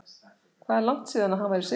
Hvað er langt síðan að hann var í sigurliði?